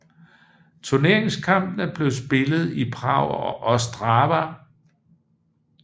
Turneringskampene blev spillet i Prag og Ostrava